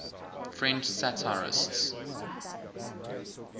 french satirists